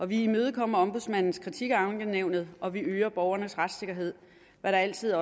vi imødekommer ombudsmandens kritik af ankenævnet og vi øger borgernes retssikkerhed hvad der altid